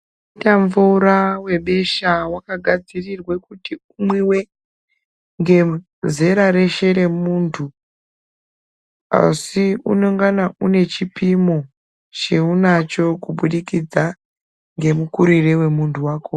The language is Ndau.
Wakaita mvura webesha wakagadzirirwa kuti umwiwe ngezera reshe remuntu asi unongana uine chipimo chauinacho kubudikidza ngemukurire wemuntu wakhona.